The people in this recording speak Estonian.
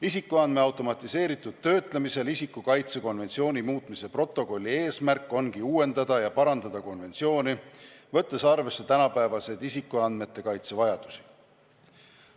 Isikuandmete automatiseeritud töötlemisel isiku kaitse konventsiooni muutmise protokolli eesmärk ongi uuendada ja parandada konventsiooni, võttes arvesse tänapäevaseid isikuandmete kaitse vajadusi.